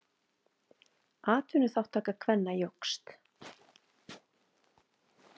Atvinnuþátttaka kvenna jókst.